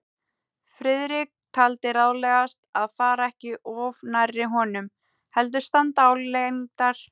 Friðrik taldi ráðlegast að fara ekki of nærri honum, heldur standa álengdar.